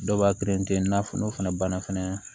Dɔw b'a i n'a fɔ n'o fana banna fɛnɛ